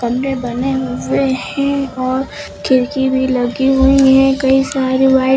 अंदर बने हुए हैं और खिड़की भी लगी हुई है कई सारी व्हाइट --